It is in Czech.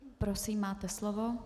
Prosím, máte slovo.